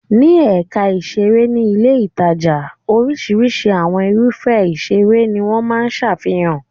Ní ẹ̀ka ìṣeré ní ilé-ìtajà. Oríṣiríṣi àwọn irúfẹ́ ìṣeré ni wọ́n máa ń ṣàfihàn.